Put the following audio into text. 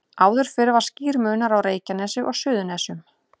Áður fyrr var skýr munur á Reykjanesi og Suðurnesjum.